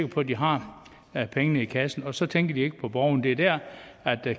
på at de har pengene i kassen og så tænker de jo ikke på borgeren det er der